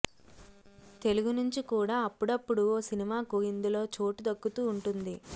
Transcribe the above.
తెలుగు నుంచి కూడా అప్పుడప్పుడూ ఓ సినిమాకు ఇందులో చోటు దక్కుతూ ఉంటుంది